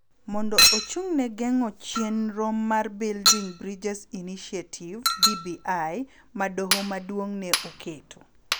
mondo ochung� ne geng�o chenro mar Building Bridges Initiative (BBI) ma Doho Maduong� ne oketo,